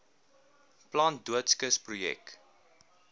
plant doodskis projek